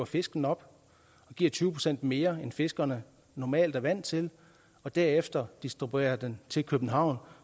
fiskene op giver tyve procent mere end fiskerne normalt er vant til og derefter distribuerer dem til københavn